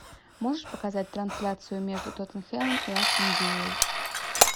можешь показать трансляцию между тоттенхэмом и астон виллой